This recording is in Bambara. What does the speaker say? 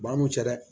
Ba an m'u cɛ dɛ